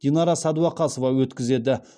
динара сәдуақасова өткізеді